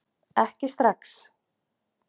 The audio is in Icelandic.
Ekki strax